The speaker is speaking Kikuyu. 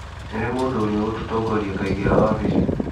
Nĩ rĩ mũndũ ũrĩa ũgũtongoria akaingĩra wabici?